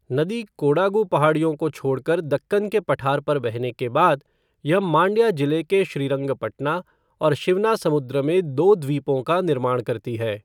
नदी कोडागु पहाड़ियों को छोड़कर दक्कन के पठार पर बहने के बाद, यह मांड्या जिले के श्रीरंगपटना और शिवनासमुद्र में दो द्वीपों का निर्माण करती है।